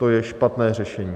To je špatné řešení.